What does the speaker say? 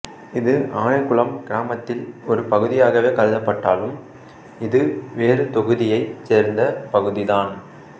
இது ஆனைகுளம் கிராமத்தில் ஒரு பகுதியாகவே கருதப்பட்டாலும இது வேறு தொகுதியை சேர்ந்த பகுதிதான்